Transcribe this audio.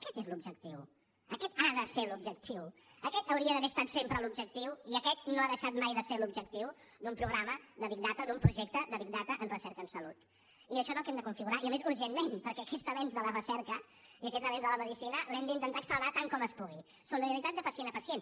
aquest és l’objectiu aquest ha de ser l’objectiu aquest hauria d’haver estat sempre l’objectiu i aquest no ha deixat de ser mai l’objectiu d’un programa de big data d’un projecte de i això és el que hem de configurar i a més urgentment perquè aquest avenç de la recerca i aquest avenç de la medicina l’hem d’intentar accelerar tant com es pugui solidaritat de pacient a pacient